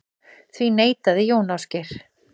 Því neitaði Jón Ásgeir.